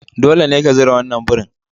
Dole ne ka zura wannan burin